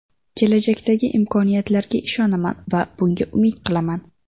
Kelajakdagi imkoniyatlarga ishonaman va bunga umid qilaman.